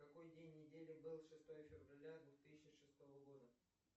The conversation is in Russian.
какой день недели был шестое февраля двух тысячи шестого года